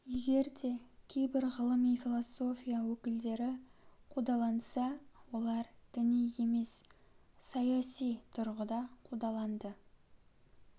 егер де кейбір ғылыми философия өкілдері қудаланса олар діни емес саяси тұрғыда қудаланды